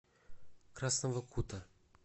красного кута